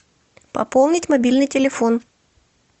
пополнить мобильный телефон